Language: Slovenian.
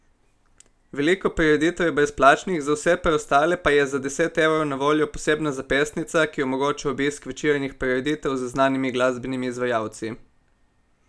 Veliko prireditev je brezplačnih, za vse preostale pa je za deset evrov na voljo posebna zapestnica, ki omogoča obisk večernih prireditev z znanimi glasbenimi izvajalci.